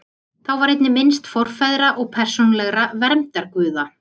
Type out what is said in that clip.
Þá var einnig minnst forfeðra og persónulegra verndarguða.